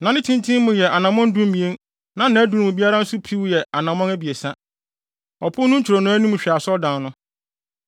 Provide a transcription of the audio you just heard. na ne tenten mu yɛ anammɔn dumien, na nʼadum mu biara nso piw yɛ anammɔn abiɛsa. Ɔpon no ntwironoo anim hwɛ asɔredan no.